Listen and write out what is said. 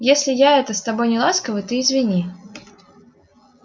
если я это с тобой неласковый ты извини